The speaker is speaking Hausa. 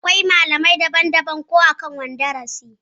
Akwai malamai daban daban akan kowanne darasi